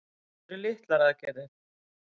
Þetta eru litlar aðgerðir